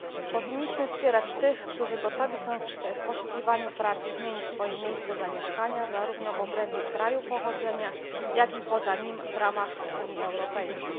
Powinniśmy wspierać tych, którzy gotowi są w poszukiwaniu pracy zmienić miejsce zamieszkania, zarówno w obrębie kraju pochodzenia, jak i poza nim, w ramach Unii Europejskiej.